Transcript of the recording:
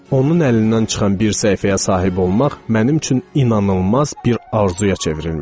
Onun əlindən çıxan bir səhifəyə sahib olmaq mənim üçün inanılmaz bir arzuya çevrilmişdi.